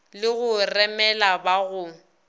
le go remela ba go